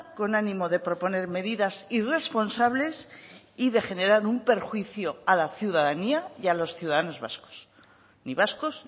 con ánimo de proponer medidas irresponsables y de generar un perjuicio a la ciudadanía y a los ciudadanos vascos ni vascos